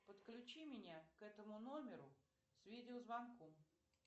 подключи меня к этому номеру с видеозвонком